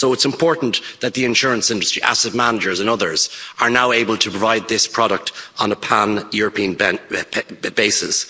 So it's important that the insurance industry, asset managers and others are now able to provide this product on a pan European basis.